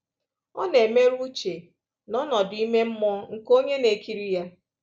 Ọ na-emerụ uche na ọnọdụ ime mmụọ nke onye na-ekiri ya.